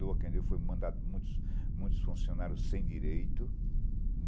Doa quem doeu, foi mandada... Muitos muitos funcionários sem direito.